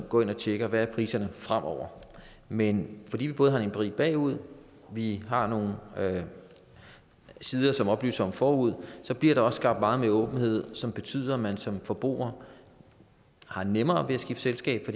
gå ind og tjekke hvad priserne fremover men fordi vi både har en empiri bagud og vi har nogle sider som oplyser om forude så bliver der også skabt meget mere åbenhed som betyder at man som forbruger har nemmere ved at skifte selskab for